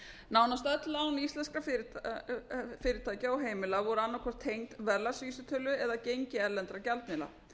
nánast öll lán íslenskra fyrirtækja og heimila voru annað hvort tengd verðlagsvísitölu eða gengi erlendra gjaldmiðla